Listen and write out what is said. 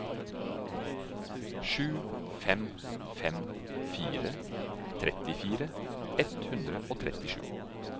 sju fem fem fire trettifire ett hundre og trettisju